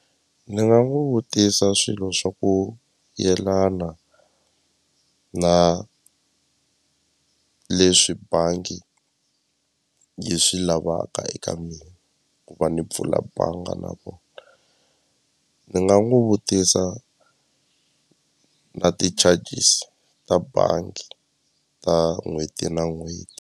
Ni nga n'wi vutisa swilo swa ku yelana na leswi bangi yi swi lavaka eka mina ku va ni pfula banga na vona ni nga n'wi vutisa na ti-charges ta bangi ta n'hweti na n'hweti.